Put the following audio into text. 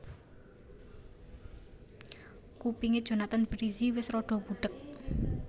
Kupinge Jonathan Frizzy wes rada budheg